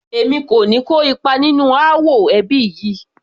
Èmi kò ní kó ipa nínú ááwọ̀ ẹbí yìí